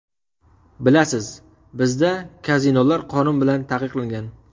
Bilasiz, bizda kazinolar qonun bilan taqiqlangan.